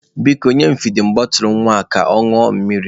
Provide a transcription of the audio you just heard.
Biko, nye m fidin bọtụlụ nwa ka ọ ṅụọ mmiri!